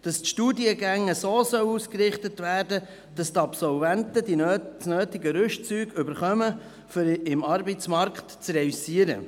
Die Studiengänge sollen so ausgerichtet werden, dass die Absolventen das notwendige Rüstzeug erhalten, um im Arbeitsmarkt bestehen zu können.